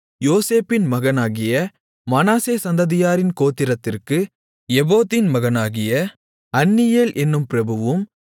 யோசேப்பின் மகனாகிய மனாசே சந்ததியாரின் கோத்திரத்திற்கு எபோதின் மகனாகிய அன்னியேல் என்னும் பிரபுவும்